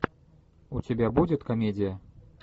у тебя будет комедия